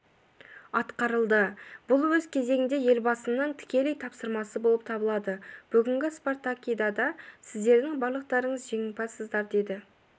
атқарылды бұл өз кезегінде елбасының тікелей тапсырмасы болып табылады бүгінгі спартакиадада сіздердің барлықтарыңыз жеңімпазсыздар деді